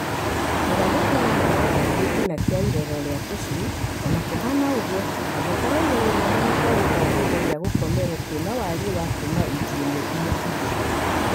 Magathĩti no maro thĩ gĩtina kĩa irerero rĩa tũcui, ona kũhana ũguo, angĩkorwo igũrũ rĩamo nĩkwarĩtwo kĩndũ gĩa gũkomera kĩna wariĩ wa kuma inji ĩmwe nginya igĩrĩ.